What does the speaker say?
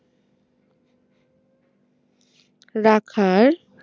রাখার